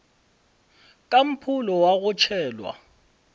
ka mpholo wa go tšhelwa